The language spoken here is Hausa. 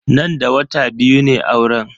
Nan da wata biyu ne auren.